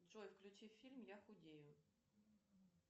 джой включи фильм я худею